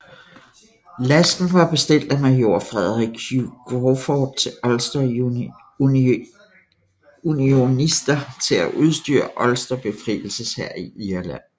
Lasten var bestilt af major Frederick Hugh Crawford til Ulster Unionister til at udstyre Ulster befrielseshær i Irland